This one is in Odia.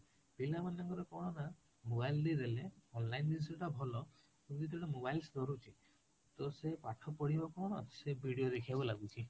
ପିଲା ମାଙ୍କର କଣ ନା mobile online ଜିନିଷ ଟା ଭଲ କିନ୍ତୁ ଯେତେ ବେଳେ mobile ତ ସେ ପାଠ ପଢିବ କଣ ସେ video ଦେଖିବାକୁ ଲାଗୁଛି